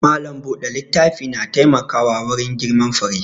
Malam buɗe littafi na taimkawa wurin girman fure